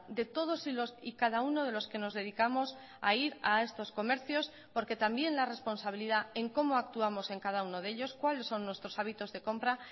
de todos y cada uno de los que nos dedicamos a ir a estos comercios porque también la responsabilidad en cómo actuamos en cada uno de ellos cuáles son nuestros hábitos de compra